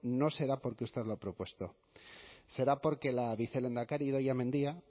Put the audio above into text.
no será porque usted lo ha propuesto será porque la vicelehendakari idoia mendia